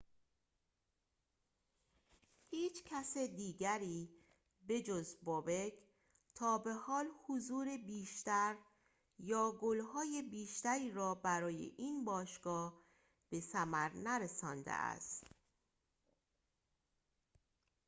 هیچ کس دیگری به‌جز bobek تابه‌حال حضور بیشتر یا گل‌های بیشتری را برای این باشگاه به ثمر نرسانده است